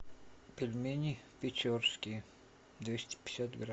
пельмени печорские двести пятьдесят грамм